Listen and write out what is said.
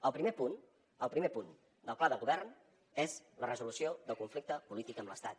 el primer punt el primer punt del pla de govern és la resolució del conflicte polític amb l’estat